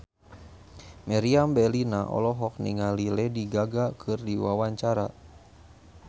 Meriam Bellina olohok ningali Lady Gaga keur diwawancara